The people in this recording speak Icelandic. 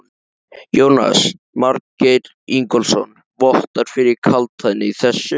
Jónas Margeir Ingólfsson: Vottar fyrir kaldhæðni í þessu?